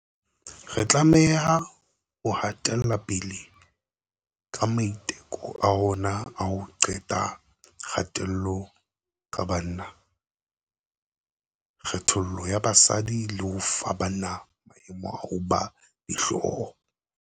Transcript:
Re tlameha ho hatelapele ka maiteko a rona a ho qeta kgatello ka banna, kgethollo ya basadi le ho fa banna maemo a ho ba dihloho.